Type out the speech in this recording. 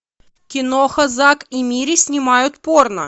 киноха зак и мири снимают порно